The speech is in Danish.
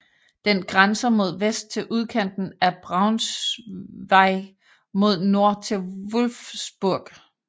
Den grænser mod vest til udkanten af Braunschweig og mod nord til Wolfsburg